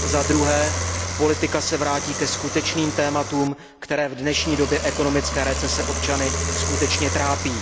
Zadruhé, politika se vrátí ke skutečným tématům, které v dnešní době ekonomické recese občany skutečně trápí.